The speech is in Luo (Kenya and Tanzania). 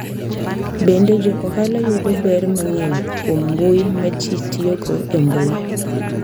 Bende, jo ohala yudo ber mang’eny kuom mbui ma ji tiyogo e mbui.